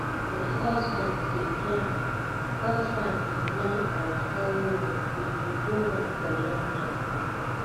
my husband dey plan husband dey plan our honeymoon we go do am for london